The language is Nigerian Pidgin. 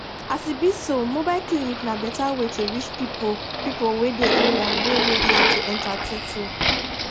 as e be so mobile clinic na better way to reach pipo pipo wey dey area wey no easy to enta truetrue